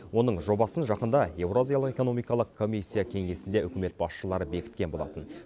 оның жобасын жақында еуразиялық экономикалық комиссия кеңесінде үкімет басшылары бекіткен болатын